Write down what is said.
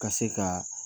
Ka se ka